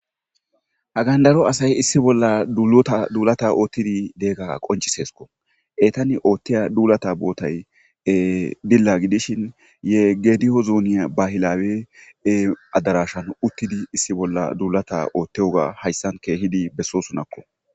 Ha gandaro asay issi bolla duaduulata oottidi deegga qonciseesko etani oothtiya duulata bootay dilla gidishin yeggediyo zuuniya bahilawee adarashan uttidi issi bolla duulata ootteoga hayssan keehidi bessosunakko.